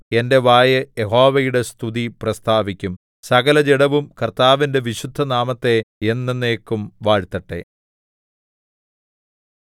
എന്റെ വായ് യഹോവയുടെ സ്തുതി പ്രസ്താവിക്കും സകലജഡവും കർത്താവിന്റെ വിശുദ്ധനാമത്തെ എന്നെന്നേക്കും വാഴ്ത്തട്ടെ